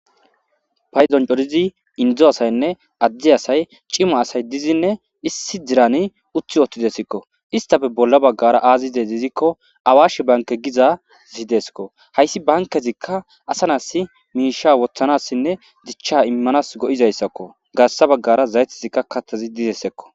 Payzon codizi indzo asaynne addi asay cima asay dizinne issi dirani uthi ootidesikko istafe bolla baggara aazi de izikko awashi banke gizazi deskko hayssi bankezikka asanasi miisha wothanassinne dichcha immanas go'izayssakko gaarsa baggara zaytizikka kattazi dizessekko.